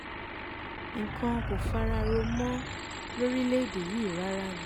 nǹkan kò fara rọ mọ́ lórílẹ̀‐èdè yìí rárá ni